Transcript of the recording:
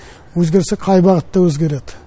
өзгерсе қай бағытта өзгереді